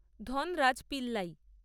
Dhanraj Pillay